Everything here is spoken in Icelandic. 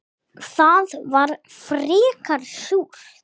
Það var frekar súrt.